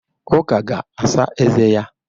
Uke ga-asa eze ya.